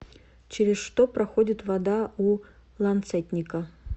через что проходит вода у ланцетника